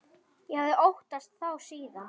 Ég hafði óttast þá síðan.